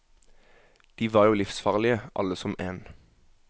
De var jo livsfarlige, alle som en.